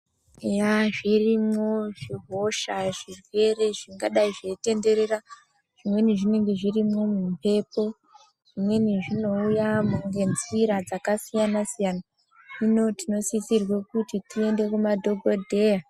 Eya, zvirimwo zvihosha zvirwere zvingadai zveitenderera. Zvimweni zvinenge zvirimwo mumbepo, zvimweni zvinouya ngenzira dzakasiyana-siyana. Hino tinosisirwe kuti tiende kumadhokodheya.